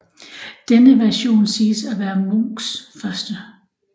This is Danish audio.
Denne version siges at være Munchs første